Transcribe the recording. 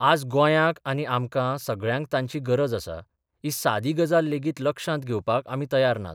आज गोंयांक आनी आमकां सगळ्यांक तांची गरज आसा ही सादी गजाल लेगीत लक्षांत घेवपाक आमी तयार नात.